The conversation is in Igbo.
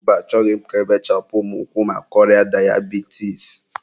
mba, achọghị m ka ebechapụ mụ ụkwụ maka ọrịa dayabitis.